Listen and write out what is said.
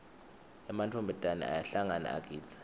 ematfombatane ayahlangana agidze